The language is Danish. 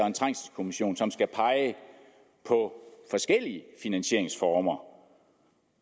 en trængselskommission som skal pege på forskellige finansieringsformer